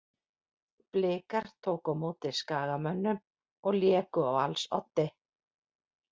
Blikar tóku á móti Skagamönnum og léku á alls oddi.